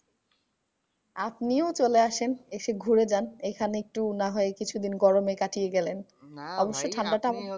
আপনিও চলে আসেন এসে ঘুরে যান। এইখানে একটু না হয় কিছুদিন গরমে কাটিয়ে গেলেন? অবশ্য ঠান্ডা টা